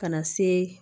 Ka na se